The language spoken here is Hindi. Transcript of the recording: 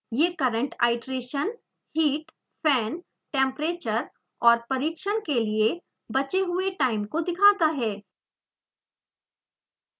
यह current iteration heat fan temperature और परीक्षण के लिए बचे हुए टाइम को दिखाता है